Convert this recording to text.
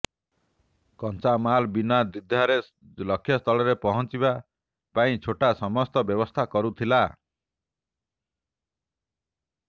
କଞ୍ଚାମାଲ ବିନା ଦ୍ବିଧାରେ ଲକ୍ଷ୍ୟସ୍ଥଳରେ ପହଞ୍ଚିବା ପାଇଁ ଛୋଟା ସମସ୍ତ ବ୍ୟବସ୍ଥା କରୁଥିଲା